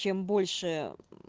чем больше